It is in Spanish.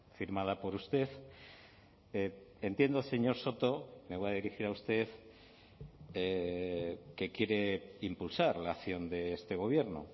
firmada por usted entiendo señor soto me voy a dirigir a usted que quiere impulsar la acción de este gobierno